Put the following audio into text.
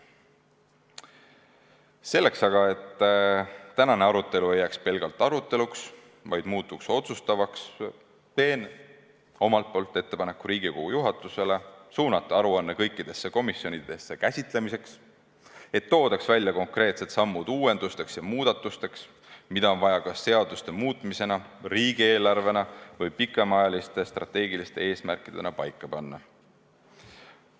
Selleks aga, et tänane arutelu ei jääks pelgalt aruteluks, vaid muutuks otsustavaks, teen omalt poolt ettepaneku Riigikogu juhatusele suunata aruanne kõikidesse komisjonidesse käsitlemiseks, et toodaks välja konkreetsed sammud uuendusteks ja muudatusteks, mida on vaja kas seaduste muutmisena, riigieelarves või pikemaajaliste strateegiliste eesmärkidena paika panna.